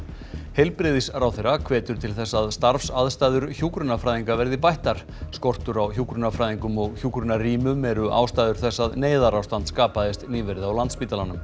heilbrigðisráðherra hvetur til þess að starfsaðstæður hjúkrunarfræðinga verði bættar skortur á hjúkrunarfræðingum og hjúkrunarrýmum eru ástæður þess að neyðarástand skapaðist nýverið á Landspítalanum